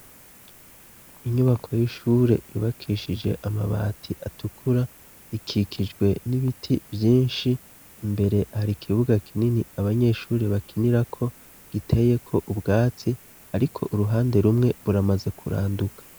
Inyubako y'ishure yubakishije amabati atukura rikikijwe n'ibiti vyinshi imbere hari ikibuga kinini abanyeshuri bakinirako giteyeko ubwatsi, ariko uruhande rumwe ruramaze kuranduka.